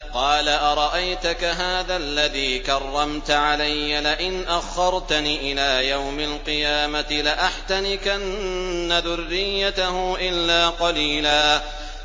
قَالَ أَرَأَيْتَكَ هَٰذَا الَّذِي كَرَّمْتَ عَلَيَّ لَئِنْ أَخَّرْتَنِ إِلَىٰ يَوْمِ الْقِيَامَةِ لَأَحْتَنِكَنَّ ذُرِّيَّتَهُ إِلَّا قَلِيلًا